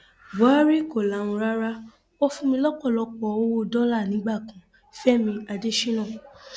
buhari kò lahùn rárá ó fún mi lọpọlọpọ owó dọlà nígbà kan fẹmi adésínà